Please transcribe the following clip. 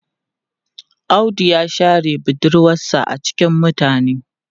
Audu ya share budurwarsa a cikin mutane.